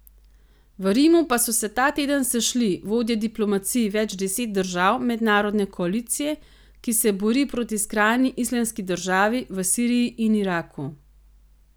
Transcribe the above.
V Rimu pa so se ta teden sešli vodje diplomacij več deset držav mednarodne koalicije, ki se bori proti skrajni Islamski državi v Siriji in Iraku.